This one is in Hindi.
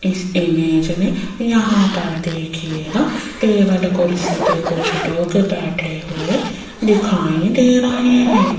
इस इमेज में यहां पर देखिएगा टेबल कुर्सी पे कुछ लोग बैठे हुए दिखाई दे रहे हैं।